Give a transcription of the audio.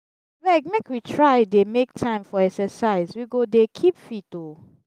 abeg make we try dey make time for exercise we go dey keep fit oo.